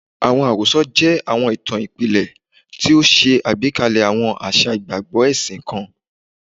Awọn arosọ jẹ awọn itan ipilẹ ti o ṣe agbekalẹ awọn aṣa igbagbọ ẹsin kan